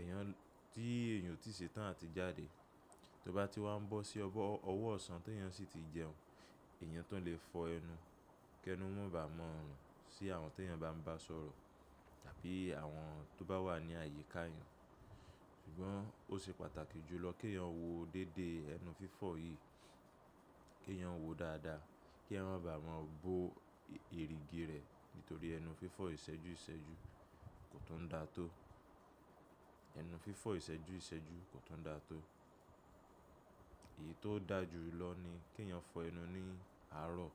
èèyàn tí èèyàn ò tíì ṣe tán àti jáde, tó bá ti wá ń bọ́ sí ọwọ́ ọ̀sán tí èèyàn sì ti jẹun, èèyàn tún lè fọ ẹnu kí ẹnu mó báa mọ́ ọrùn sí àwọn tí èèyàn bá ń bá sọ̀rọ̀ tàbí àwọn tó bá wà ní àyíká èèyàn. Ṣùgbọ́n ó ṣe pàtàkì jùlọ kèèyàn wo déédéé ẹnu fífọ̀ yìí, kèèyàn wo dáadáa, kéèyàn má bá mọ̀ bo erìgì rẹ̀ nítorí ẹnu fífọ ìṣẹ́jú ìṣẹ́jú kò tún n da tó. Ẹnu fífọ ìṣẹ́jú ìṣẹ́jú kò tún da tó. Èyí tó dáa jùlọ ni kèèyàn fọ ẹnu ní àárọ̀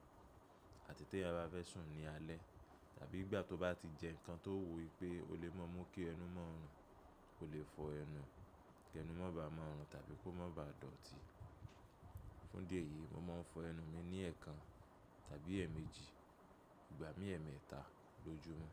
àti tèèyàn bá fẹ́ sùn ní alẹ́ tàbí ìgbà tó bá ti jẹ nǹkan tó wo wipé ó lè mọ́ mú kí ẹnu mọ́ ọrùn, kò lè fọ ẹnu kí ẹnu mó bá mọ́ ọrùn tàbí kó má báa dọ̀tí. Fún di eyìí, mo máa ń fọ ẹnu mi ní ẹ̀ẹ̀kan tàbí ẹ̀ẹ̀mejì. Ìgbà míi ẹ̀ẹ̀mẹ́eta lójúmọ́.